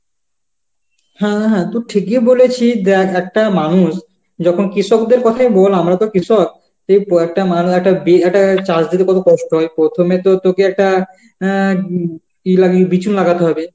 হ্যাঁ হ্যাঁ, তু ঠিকই বলেছিস, দেখ একটা মানুষ যখন কৃষকদের কথাই বল আমরা তো কৃষক একটা চাষ দিতে কত কষ্ট হয় প্রথমে তো তোকে একটা অ্যাঁ উম ই লাগিয়ে বিচুন লাগাতে হবে